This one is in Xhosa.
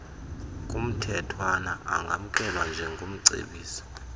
kumthethwana angamkelwa njengomcebisi